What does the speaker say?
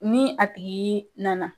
Ni a tigi nana